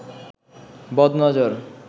বদ নজর